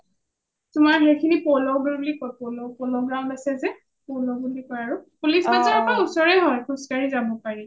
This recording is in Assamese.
তোমাৰ সেইসিনি polo ground বুলি কই polo ground আছে যে polo বুলি কই আৰু , police bazar ৰ পা ওচৰে হয় খোজ কাঢ়ি যাব পাৰি